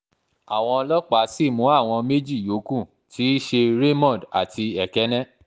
àwọn ọlọ́pàá sì mú àwọn méjì yòókù tí í ṣe raymond àti èkéńè